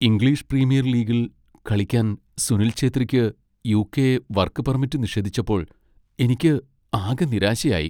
English Premier ലീഗിൽ കളിക്കാൻ സുനിൽ ഛേത്രിക്ക് യു.കെ. വർക്ക് പെർമിറ്റ് നിഷേധിച്ചപ്പോൾ എനിക്ക് ആകെ നിരാശയായി.